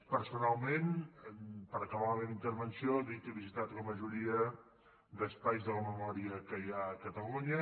personalment per acabar la meva intervenció dir que he visitat la majoria d’espais de la memòria que hi ha a catalunya